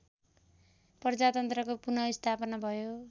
प्रजातन्त्रको पुनर्स्थापना भयो